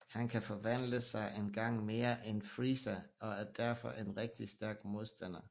Han kan forvandle sig en gang mere end Freeza og er derfor en rigtig stærk modstander